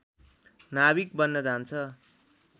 नाभिक बन्न जान्छ